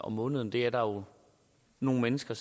måneden det er der nogle mennesker